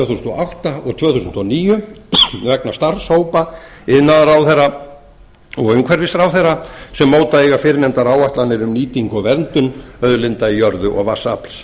átta og tvö þúsund og níu vegna starfshópa iðnaðarráðherra og umhverfisráðherra sem móta eiga fyrrnefndar áætlanir um nýtingu og verndun auðlinda í jörðu og vatnsafls